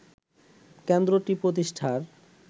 কেন্দ্রটি প্রতিষ্ঠার